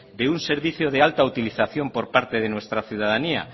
de un servicio de alta utilización por parte de nuestra ciudadanía